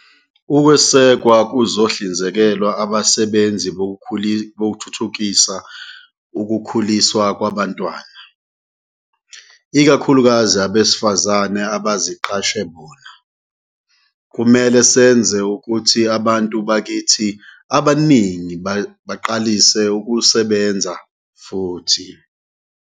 Ukwesekwa kuzohlinzekelwa abasebenzi Bokuthuthukisa Ukukhuliswa Kwabantwana, ikakhulukazi abesifazane abaziqashe bona. Kumele senze ukuthi abantu bakithi abaningi baqalise ukusebenza futhi.